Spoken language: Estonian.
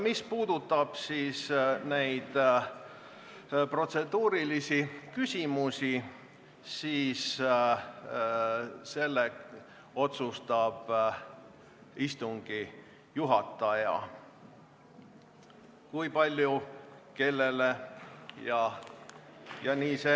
Mis puudutab protseduurilisi küsimusi, siis selle üle otsustab istungi juhataja, kui palju ja kellele sõna antakse.